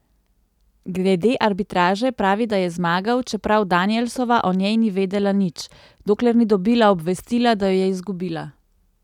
Glede arbitraže pravi, da je zmagal, čeprav Danielsova o njej ni vedela nič, dokler ni dobila obvestila, da jo je izgubila.